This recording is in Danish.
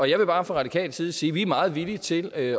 jeg vil bare fra radikal side sige at vi er meget villige til at